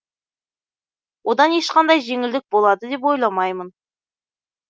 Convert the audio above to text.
одан ешқандай жеңілдік болады деп ойламаймын